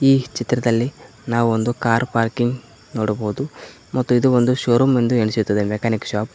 ಈ ಚಿತ್ರದಲ್ಲಿ ನಾವು ಒಂದು ಕಾರ್ ಪಾರ್ಕಿಂಗ್ ನೋಡಬಹುದು ಮತ್ತು ಇದು ಶೋರೂಮ್ ಎಂದು ಅನಿಸುತ್ತದೆ ಮೆಕಾನಿಕ್ ಶಾಪ್ .